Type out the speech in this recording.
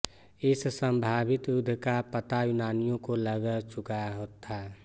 इस संभावित युद्ध का पता यूनानियों को लग चुका था